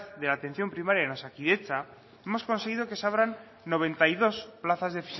de la atención primaria en osakidetza hemos conseguido que se abran noventa y dos plazas de